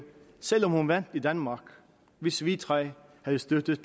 selv om hun vandt i danmark hvis vi tre havde støttet